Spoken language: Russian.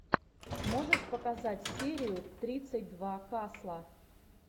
можешь показать серию тридцать два касла